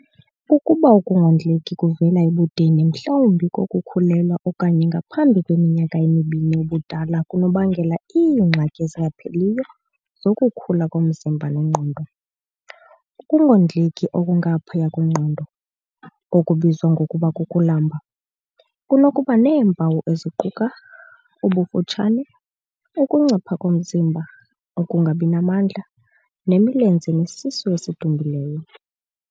Ukuba ukungondleki kuvela ebudeni mhlawumbi kokukhulelwa okanye ngaphambi kweminyaka emibini ubudala kunokubangela iingxaki ezingapheliyo zokukhula komzimba nengqondo. Ukungondleki okungaphaya kwengqondo, okubizwa ngokuba kukulamba, kunokuba neempawu eziquka- ubufutshane, ukuncipha komzimba, ukungabi namandla, nemilenze nesisu esidumbileyo.